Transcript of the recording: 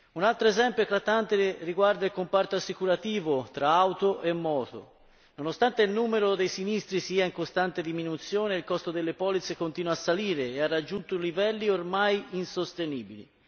Un altro esempio eclatante riguarda il comparto assicurativo tra auto e moto nonostante il numero dei sinistri sia in costante diminuzione, il costo delle polizze continua a salire e ha raggiunto livelli ormai insostenibili.